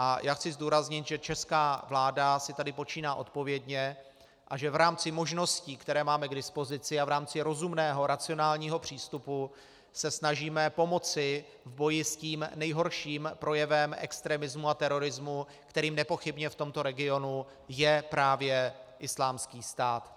A já chci zdůraznit, že česká vláda si tady počíná odpovědně a že v rámci možností, které máme k dispozici, a v rámci rozumného racionálního přístupu se snažíme pomoci v boji s tím nejhorším projevem extremismu a terorismu, kterým nepochybně v tomto regionu je právě Islámský stát.